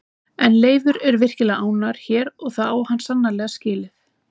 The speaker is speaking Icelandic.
En Leifur er virkilega ánægður hér og það á hann sannarlega skilið.